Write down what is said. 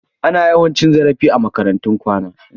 Ana yawan cin zarafi a makarantun kwana.